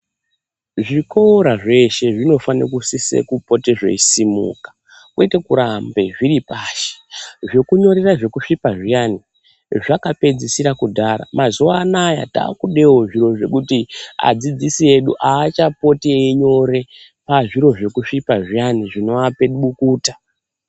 Zvikora zveshe zvinofane kusise kupote zveisimuka kwete kuramba zviri pashi zvekunyorera zvekusvipa zviyani zvakapedzisire kudhara mazuwa anaa takudewo zviro zvekuti adzidzisi edu aachapoti einyore pazviro zvekusvipa zviyani zvinoape bukuta.